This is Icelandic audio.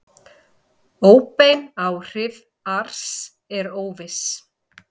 Óbein áhrif ars eru óviss.